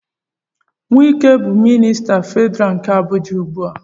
Wike bụ minista Federal nke Abuja ugbu a.